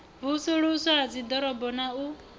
vusuluswa ha dziḓorobo na u